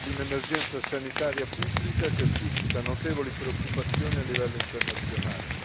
Si tratta di un'emergenza sanitaria pubblica che suscita notevoli preoccupazioni a livello internazionale.